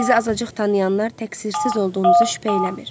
Sizi azacıq tanıyanlar təqsirsiz olduğunuzu şübhə eləmir.